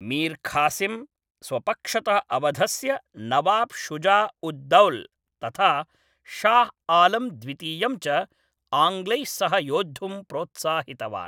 मीर् खासिम् स्वपक्षतः अवधस्य नवाब् शुजा उद् दौल् तथा शाह् आलम् द्वितीयं च आङ्ग्लैः सह योद्धुं प्रोत्साहितवान्।